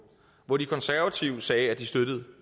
hvor de konservative sagde at de støttede